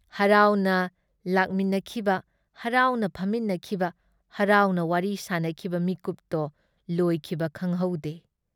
ꯍꯔꯥꯥꯎꯅ ꯂꯛꯃꯤꯟꯅꯈꯤꯕ ꯍꯔꯥꯎꯅ ꯐꯝꯃꯤꯟꯅꯈꯤꯕ ꯍꯔꯥꯎꯅ ꯋꯥꯔꯤ ꯁꯥꯅꯈꯤꯕ ꯃꯤꯀꯨꯞꯇꯣ ꯂꯣꯏꯈꯤꯕ ꯈꯪꯍꯧꯗꯦ ꯫